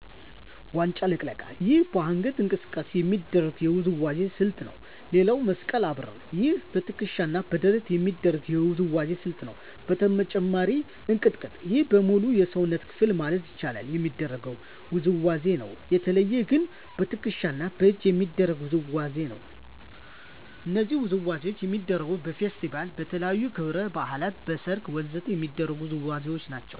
ዋንጫ ልቅለቃ ይህም በአንገት እንቅስቃሴ የሚደረግ የውዝዋዜ ስልት ነው ሌላው መስቀል አብርር ይህም በትከሻ እና በደረት የሚደረግ የውዝዋዜ ስልት ነው በተጨማሪም እንቅጥቅጥ ይህም በሙሉ የሰውነት ክፍል ማለት ይቻላል የሚደረግ ውዝዋዜ ነው በተለየ ግን በትክሻ እና በእጅ የሚደረግ ውዝዋዜ ነው እነዚህ ውዝዋዜዎች የሚደረጉት በፌስቲቫል, በተለያዩ ክብረ በዓላት, በሰርግ ወ.ዘ.ተ የሚደረጉ ውዝዋዜዎች ናቸው